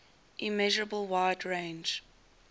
immeasurable wide range